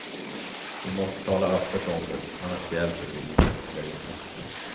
Vi måste tala öppet om det, annars hjälper vi ingen eller inget.